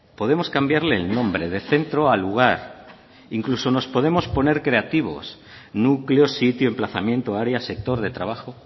podemos cambiarle el nombre de centro a lugar incluso nos podemos poner creativos núcleo sitio emplazamiento área sector de trabajo